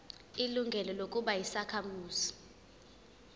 ilungelo lokuba yisakhamuzi